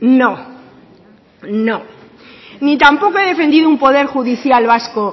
no no ni tampoco he defendido un poder judicial vasco